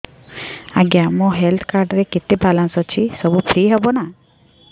ଆଜ୍ଞା ମୋ health card ରେ କେତେ ବାଲାନ୍ସ ଅଛି ସବୁ ଫ୍ରି ହବ ନାଁ